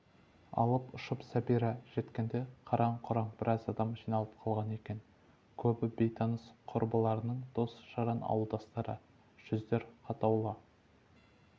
алып-ұшып сәбира жеткенде қараң-құраң біраз адам жиналып қалған екен көбі бейтаныс құрбыларының дос-жаран ауылдастары жүздер қатулы